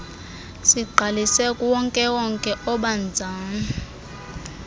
sigqalise kuwonkewonke obanzana